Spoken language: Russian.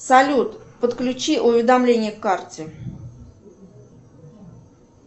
салют подключи уведомление к карте